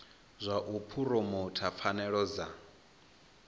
zwa u phuromotha pfanelo dza